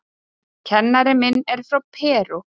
Kennarinn minn er frá Perú.